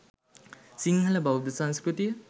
සිංහල බෞද්ධ සංස්කෘතිය